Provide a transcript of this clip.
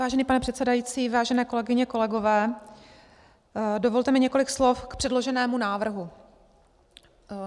Vážený pane předsedající, vážené kolegyně, kolegové, dovolte mi několik slov k předloženému návrhu.